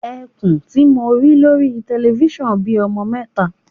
Ẹkùn tí mo rí lórí telifísàn bí ọmọ mẹta.